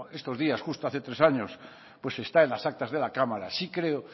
estos días justo hace tres años pues está en las actas de la cámara sí creo